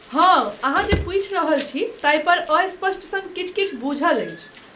हाँ, अहाँ जे पूछि रहल छी, ताहिपर अस्पष्ट सन किछु किछु बूझल अछि।